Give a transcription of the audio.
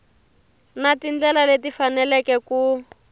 na tindlela leti faneleke ku